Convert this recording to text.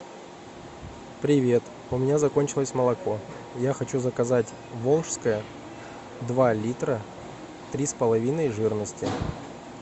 привет у меня закончилось молоко я хочу заказать волжское два литра три с половиной жирности